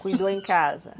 Cuidou em casa?